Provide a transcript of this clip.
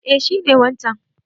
Eh shi ne wancan.